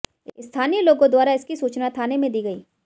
स्थानीय लोगों द्वारा इसकी सूचना थाने में दी गयी